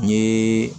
N ye